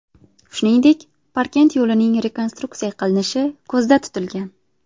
Shuningdek, Parkent yo‘lining rekonstruksiya qilinishi ko‘zda tutilgan.